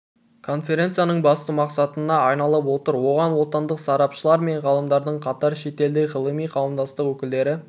конференцияның басты мақсатына айналып отыр оған отандық сарапшылар мен ғалымдармен қатар шетелдік ғылыми қауымдастық өкілдері